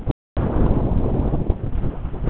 Lilla hélt áfram upp á spítala til Stínu gömlu.